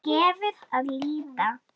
Þar gefur að líta